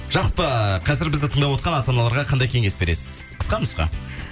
жалпы қазір бізді тыңдап отырған ата аналарға қандай кеңес бересіз қысқа нұсқа